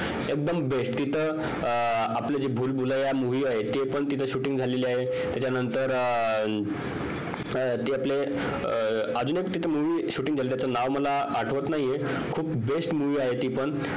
एकदम best तिथं आपलं जे भूलभुलैया movie आहे ते पण तिथं shooting झालेलं आहे त्यानंतर तिथं अजून एक movie shoot झालं आहे त्याच नाव आठवत नाहीये खूप best movie आहे ते पण